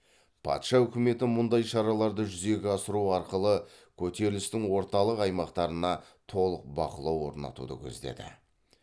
патша үкіметі мұндай шараларды жүзеге асыру арқылы көтерілістің орталық аймақтарына толық бақылау орнатуды көздеді